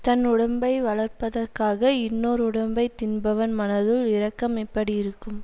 தன் உடம்பை வளர்ப்பதற்காக இன்னோர் உடம்பை தின்பவன் மனத்துள் இரக்கம் எப்படி இருக்கும்